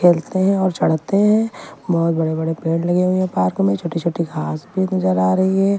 खेलते हैं और चढ़ते हैं बहुत बड़े-बड़े पेड़ लगे हुए हैं पार्क में छोटी-छोटी घास भी नजर आ रही है।